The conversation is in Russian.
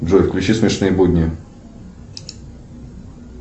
джой включи смешные будни